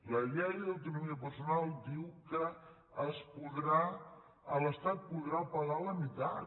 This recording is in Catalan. la llei d’autonomia personal diu que l’estat en podrà pagar la meitat